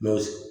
Mɛ